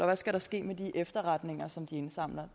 hvad skal der ske med de efterretninger som de indsamler